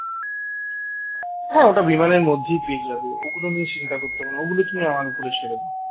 হ্যাঁ ওটা বিমানের মধ্যেই পেয়ে যাবে ওগুলো নিয়ে চিন্তা করতে হবে না ওগুলো তুমি আমার ওপরে ছেড়ে দাও